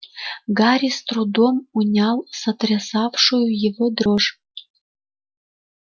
гарри с трудом унял сотрясавшую его дрожь